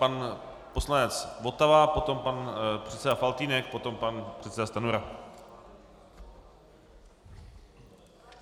Pan poslanec Votava, potom pan předseda Faltýnek, potom pan předseda Stanjura.